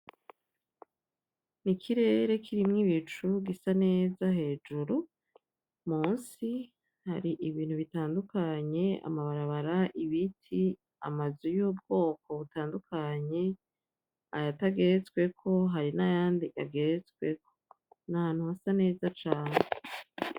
N’ikirere kirimwo ibicu gisa neza hejuru. Munsi hari ibintu bitandukanye amabarabara ; ibiti ; amazu y'ubwoko butandukanye, ayatageretsweko hari nayandi ageretsweko. Nahantu hasa neza cane.